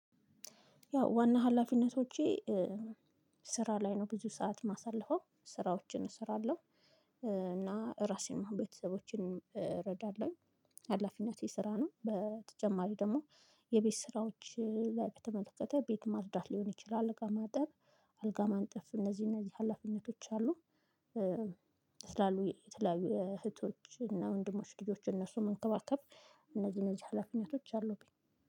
ያው ዋና ሀላፊነቶቼ ስራ ላይ ነው ብዙ ሰዓት ማሳልፈው ስራዎችን እሰራለሁ። እና ራሴን ቤተሰቦቼን እረዳለሁ። ሀላፊነቴ ስራ ነው በተጨማሪ ደግሞ። የቤት ስራዎች ላይ በተመለከተ ቤት ማጽዳት ሊሆን ይችላል እቃ ማጠብ አልጋ ማንጠፍ እነዚህ እነዚህ ሀላፊነቶች አሉ። ትላሉ የተለያዩ እህቶች እና ወንድሞች ልጆች እነሱ መንከባከብ እነዚህ እነዚህ ሀላፊነቶች አሉብኝ